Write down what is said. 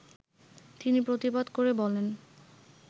তিনি প্রতিবাদ করে বলেন